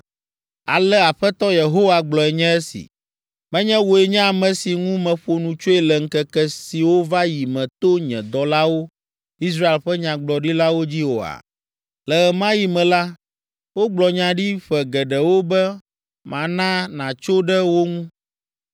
“Ale Aƒetɔ Yehowa gblɔe nye esi: Menye wòe nye ame si ŋu meƒo nu tsoe le ŋkeke siwo va yi me to nye dɔlawo, Israel ƒe nyagblɔɖilawo dzi oa? Le ɣe ma ɣi me la, wogblɔ nya ɖi ƒe geɖewo be mana nàtso ɖe wo ŋu.